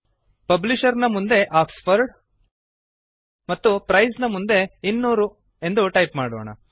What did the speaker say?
publisher ನ ಮುಂದೆ Oxford ಮತ್ತು ಪ್ರೈಸ್ ನ ಮುಂದೆ 200 ಎಂದು ಟೈಪ್ ಮಾಡೋಣ